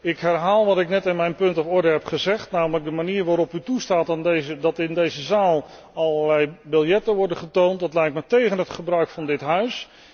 Ik herhaal wat ik net in mijn punt van orde heb gezegd, namelijk de manier waarop u toestaat dat in deze zaal allerlei biljetten worden getoond, dat lijkt me tégen het gebruik van dit Huis.